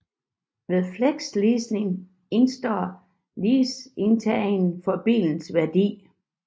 Ved flexleasing indestår leasingtageren for bilens værdi